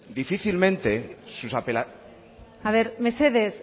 mesedez borja esan dizut me parece